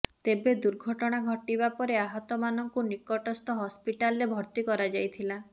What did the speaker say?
ତେବେ ଦୂର୍ଘଟଣା ଘଟିବା ପରେ ଆହତମାନଙ୍କୁ ନିକଟସ୍ଥ ହସ୍ପିଟାଲରେ ଭର୍ତ୍ତି କରାଯାଇଥିଲା